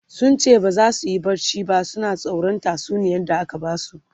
sunce baza suyi barci ba suna tsoran tatsuniyar da aka Basu